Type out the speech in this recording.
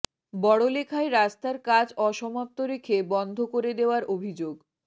বড়লেখায় রাস্তার কাজ অসমাপ্ত রেখে বন্ধ করে দেওয়ার অভিযোগ